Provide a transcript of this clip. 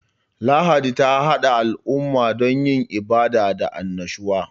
Lahadi ta hada al'umma don yin ibada da annashuwa.